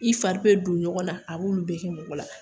I fari bɛ don ɲɔgɔn na a b'olu bɛɛ kɛ mɔgɔ la